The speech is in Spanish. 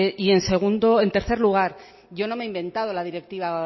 y en tercer lugar yo no me he inventado la directiva